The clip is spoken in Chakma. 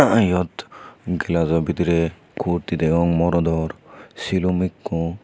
ahh iyot glazo bidrey kurti degong morodor silum ikko.